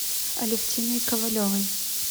алевтиной ковалевой